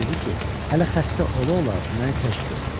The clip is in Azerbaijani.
Ona dedi ki, hələ xəstə ola-ola məni tək qoyur.